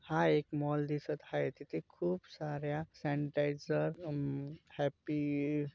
हा एक मॉल दिसत हाय. तिथे खूप सार्‍या सैनिटाइज़र अम हॅप्पी ईडड --